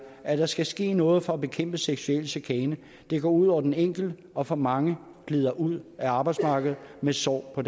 at der skal ske noget for at bekæmpe seksuel chikane det går ud over den enkelte og for mange glider ud af arbejdsmarkedet med sår på